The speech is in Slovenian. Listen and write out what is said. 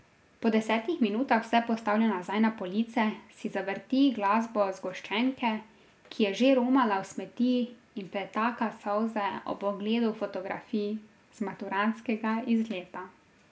Po desetih minutah vse postavlja nazaj na police, si zavrti glasbo z zgoščenke, ki je že romala v smeti in pretaka solze ob ogledu fotografij z maturantskega izleta.